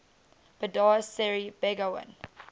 bandar seri begawan